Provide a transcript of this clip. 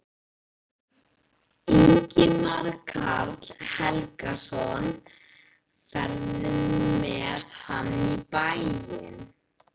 Ingimar Karl Helgason: Ferðu með hann í bæinn?